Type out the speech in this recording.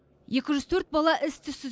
екі жүз төрт бала іс түзсіз